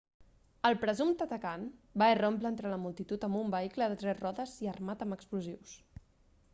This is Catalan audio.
el presumpte atacant va irrompre entre la multitud amb un vehicle de tres rodes i armat amb explosius